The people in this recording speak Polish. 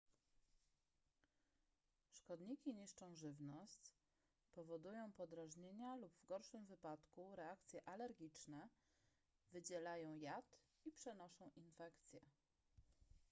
szkodniki niszczą żywność powodują podrażnienia lub w gorszym wypadku reakcje alergiczne wydzielają jad i przenoszą infekcje